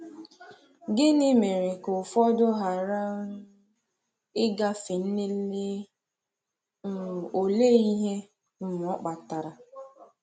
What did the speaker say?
Gịnị mere ka ụfọdụ ghara um ịgafe nlele, um òlee ihe um ọ kpatara?